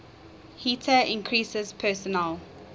heater increases personal